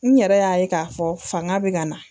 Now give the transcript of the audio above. N yɛrɛ y'a ye k'a fɔ fanga bɛ ka na.